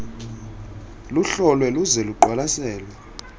luhlolwe luze luqwalaselwe